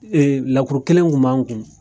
Ee lakuru kelen kun b'an kun